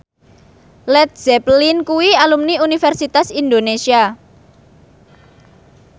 Led Zeppelin kuwi alumni Universitas Indonesia